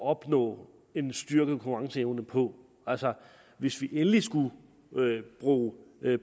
opnå en styrket konkurrenceevne på altså hvis vi endelig skulle bruge